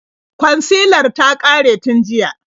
Kwansilar ta ƙare tun jiya.